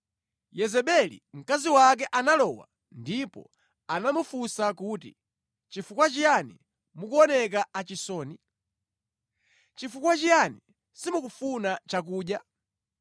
Yezebeli mkazi wake analowa ndipo anamufunsa kuti, “Chifukwa chiyani mukuoneka achisoni? Chifukwa chiyani simukufuna chakudya?”